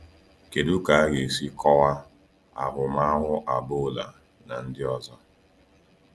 Kedu ka a ga-esi kọwaa ahụmahụ Agboola na ndị ọzọ?